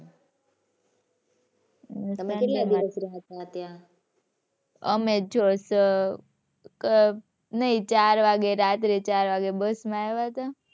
તમે કેટલા દિવસ રહ્યા હતા ત્યાં? અમે જો સ અ નહીં ચાર વાગે રાત્રે ચાર વાગે બસ માં આવ્યા હતા.